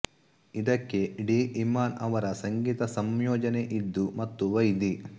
ಇದಕ್ಕೆ ಡಿ ಇಮ್ಮಾನ್ ಅವರ ಸಂಗೀತ ಸಂಯೋಜನೆಯಿದ್ದು ಮತ್ತು ವೈದಿ